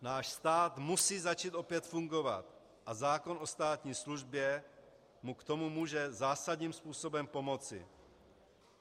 Náš stát musí začít opět fungovat a zákon o státní službě mu k tomu může zásadním způsobem pomoci.